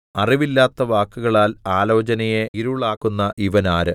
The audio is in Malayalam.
അറിവില്ലാത്ത വാക്കുകളാൽ ആലോചനയെ ഇരുളാക്കുന്ന ഇവനാര്